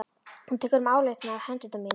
Þú tekur um áleitnar hendur mínar.